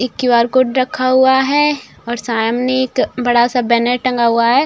एक QR. Code रखा हुआ है और सामने एक बड़ा सा बैनर टंगा हुआ है।